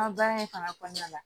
An ka baara in fana kɔnɔna la